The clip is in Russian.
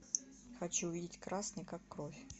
хочу увидеть красный как кровь